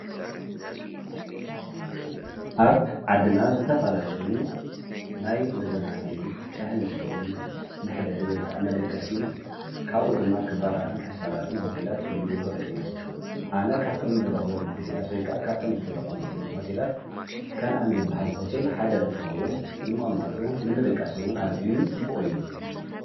ኣብ ዓድና ዝተፋላለዩ ናይ መዘናጊዒ ሻሂ መስተይ መሕደሪ ወይከዓ መደቀሲ ካኡ ድማ ኽባራትን ሕሳራትን ሆቴላት ክህል ይክእሉ እዮም። ኣነ ካብቶም ዝረከቦም ሆቴላት ወይከዓ ካብቶም ዝተጠቐምክሎም ሆቴላት ከንኣን ዝበሃል ሆቴል ሓደ እንትኸውን ንምቕማጡ ንምድቃስ'ውን ኣዝዩ ፅቡቅ እዩ።